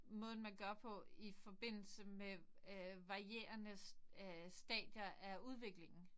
Måden man gør på i forbindelse med øh varierende øh stadier af udviklingen